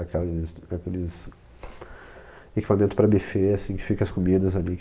Aquelas... Aqueles equipamentos para buffet, assim, que fica as comidas ali.